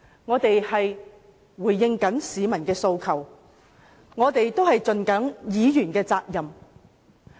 我們只是回應市民的訴求，善盡議員的責任。